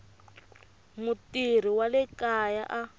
mutirhi wa le kaya a